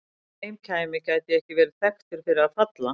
Þegar heim kæmi gæti ég ekki verið þekktur fyrir að falla.